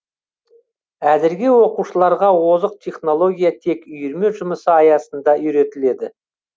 әзірге оқушыларға озық технология тек үйірме жұмысы аясында үйретіледі